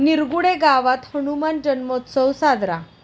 निरगुडे गावात हनुमान जन्मोत्सव साजरा